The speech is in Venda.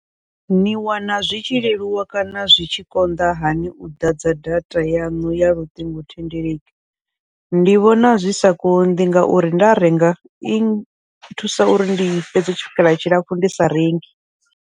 Ni wana zwi tshi leluwa kana zwi tshi konḓa hani u ḓadza data yaṋu ya luṱingothendeleki, ndi vhona zwi sa konḓi ngauri nda renga i thusa uri ndi fhedze tshikhala tshilapfhu ndi sa rengi.